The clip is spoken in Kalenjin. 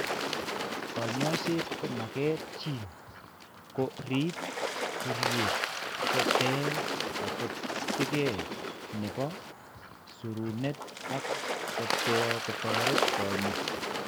Kaany'ayseet ko maket nyin koko riib nkuryeet, ko ter kachopetke ne po siruneet ak ko toret konyaa.